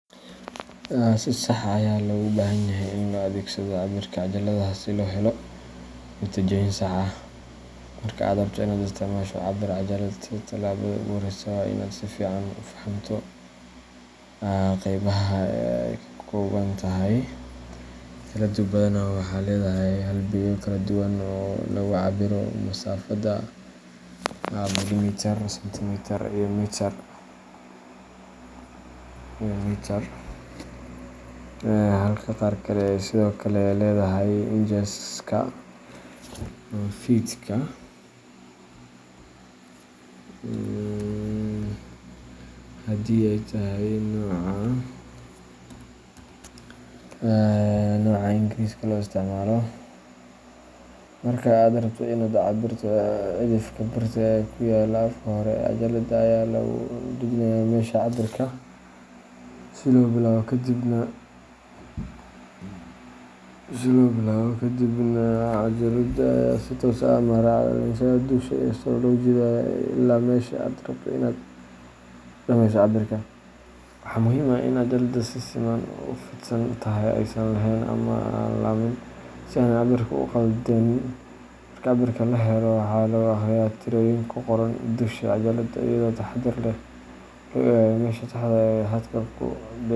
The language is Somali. Si sax ah ayaa loogu baahanyahay in loo adeegsado cabbirka cajaladaha si loo helo natiijooyin sax ah. Marka aad rabto in aad isticmaasho cabbir-cajalad, tallaabada ugu horreysa waa in aad si fiican u fahamto qaybaha ay ka kooban tahay. Cajaladdu badanaa waxay leedahay halbeegyo kala duwan oo lagu cabbiro masaafada – millimitir, sentimitir, iyo mitir – halka qaar kale ay sidoo kale leeyihiin incheska iyo feetka haddii ay tahay nooca Ingiriisiga loo isticmaalo. Marka aad rabto in aad cabbirto, cidhifka birta ah ee ku yaalla afka hore ee cajaladda ayaa lagu dhajinayaa meesha cabbirka laga bilaabayo, kadibna cajaladda ayaa si toos ah ama raacda leexashada dusha sare loogu jiidayaa ilaa meesha aad rabto in aad ku dhammayso cabbirka. Waxaa muhiim ah in cajaladda si siman u fidsan tahay oo aysan leexan ama laabmin, si aanay cabbirka u khaldin. Marka cabbirka la helo, waxaa lagu akhriyaa tirooyinka ku qoran dusha cajaladda, iyadoo si taxaddar leh loo eegayo meesha saxda ah ee xadku ku.